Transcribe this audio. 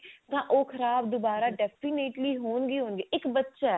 ਤਾਂ ਉਹ ਖਰਾਬ ਦੁਬਾਰਾ ਹੀ ਹੋਣਗੇ ਹੀ ਹੋਣਗੇ